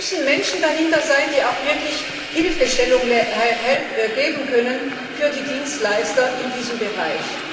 Da müssen Menschen dahinter sein, die auch wirklich Hilfestellung leisten können für die Dienstleister in diesem Bereich.